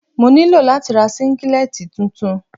Mo ní láti ra Síngílẹ́tì tuntun.